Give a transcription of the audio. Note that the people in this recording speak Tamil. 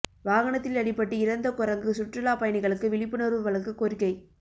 வாகனத்தில் அடிபட்டு இறந்த குரங்கு சுற்றுலா பயணிகளுக்கு விழிப்புணர்வு வழங்க கோரிக்கை